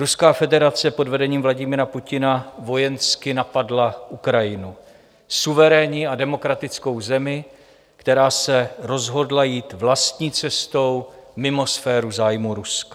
Ruská federace pod vedením Vladimíra Putina vojensky napadla Ukrajinu, suverénní a demokratickou zemi, která se rozhodla jít vlastní cestou, mimo sféru zájmů Ruska.